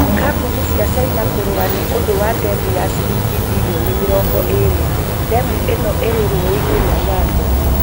Kambuni cia China kũrũa nĩ ũndũ wa ndemu ya ciringi birioni mĩrongo ĩre . Ndemu ĩno ĩ rĩ rũũĩ-inĩ rwa Nyando.